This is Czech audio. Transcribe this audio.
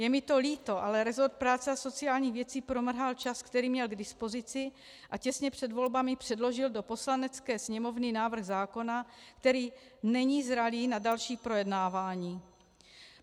Je mi to líto, ale rezort práce a sociálních věcí promrhal čas, který měl k dispozici, a těsně před volbami předložil do Poslanecké sněmovny návrh zákona, který není zralý na další projednávání.